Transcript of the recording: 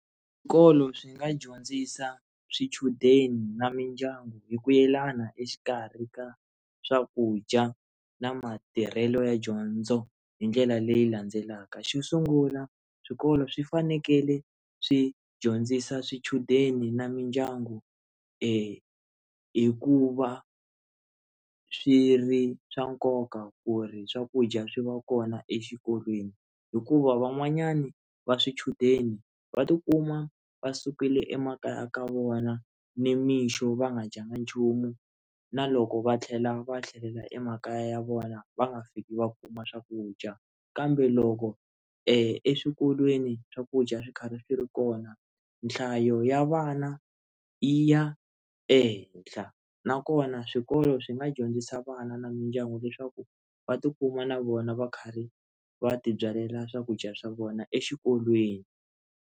Swikolo swi nga dyondzisa swichudeni na mindyangu hi ku yelana exikarhi ka swakudya na matirhelo ya dyondzo hi ndlela leyi landzelaka xo sungula swikolo swi fanekele swi dyondzisa swichudeni na mindyangu hi k uva swi ri swa nkoka ku ri swakudya swi va kona exikolweni hikuva van'wanyana va swichudeni va tikuma va sukile emakaya ka vona ni mixo va nga dyanga nchumu na loko va tlhela va tlhelela emakaya ya vona va nga fiki va kuma swakudya kambe loko eswikolweni swakudya swi karhi swi ri kona nhlayo ya vana yi ya ehenhla na kona swikolo swi nga dyondzisa vana na mindyangu leswaku va tikuma na vona va karhi va tibyalela swakudya swa vona exikolweni.